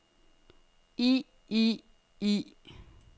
i i i